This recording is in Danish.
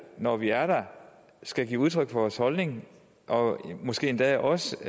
når vi er der skal give udtryk for vores holdning og måske endda også